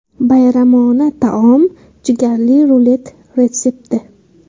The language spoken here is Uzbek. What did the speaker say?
Bayramona taom jigarli rulet retsepti.